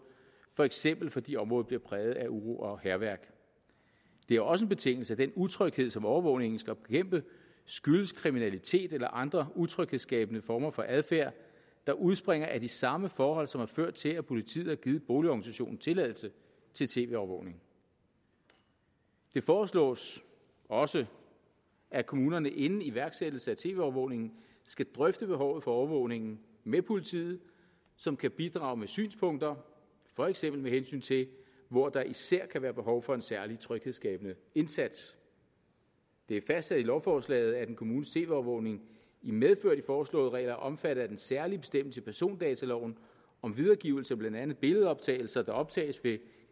for eksempel fordi området bliver præget af uro og hærværk det er også en betingelse at den utryghed som overvågningen skal bekæmpe skyldes kriminalitet eller andre utryghedsskabende former for adfærd der udspringer af de samme forhold som har ført til at politiet har givet boligorganisationen tilladelse til tv overvågning det foreslås også at kommunerne inden iværksættelse at tv overvågningen skal drøfte behovet for overvågningen med politiet som kan bidrage med synspunkter for eksempel med hensyn til hvor der især kan være behov for en særlig tryghedsskabende indsats det er fastsat i lovforslaget at en kommunes tv overvågning i medfør af de foreslåede regler er omfattet af den særlige bestemmelse i persondataloven om videregivelse af blandt andet billedoptagelser der optages ved